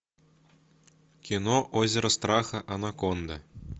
кино озеро страха анаконды